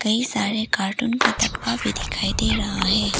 ई सारे कार्टून का डब्बा भी दिखाई दे रहा है।